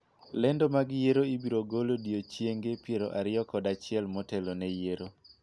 lendo mag yiero ibiro gol odiochienge piero ariyo kod achiel motelo ne yiero